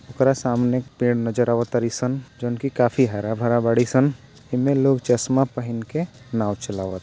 ओकरा सामने पेड़ नजर आवत तारी सन जोन की काफी हरा भरा बाड़ी सन एमे लोग चश्मा पहन के नाव चलावत।